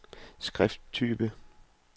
skrifttype